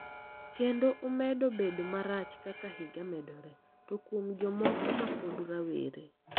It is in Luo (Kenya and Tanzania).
Kendo omedo bedo marach kaka higa medore, to kuom jomoko mapod rawere.